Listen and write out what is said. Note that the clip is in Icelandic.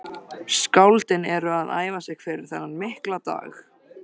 Skáldin eru að æfa sig fyrir þennan mikla dag.